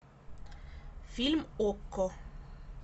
фильм окко